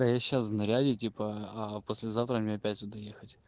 да я сейчас в наряде типа а послезавтра меня опять туда ехать